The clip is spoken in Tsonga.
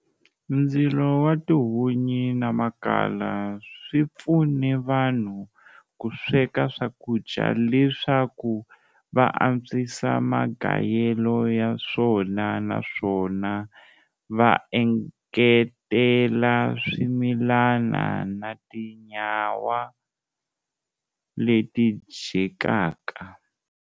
Ndzilo watihunyi namakhala, swipfune vanhu kusweka swakudya leswaku va antswisa magayelo yaswona naswona vaengetela swimilana na tinyama leti dyekaka.